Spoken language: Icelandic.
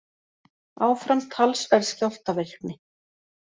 Áfram talsverð skjálftavirkni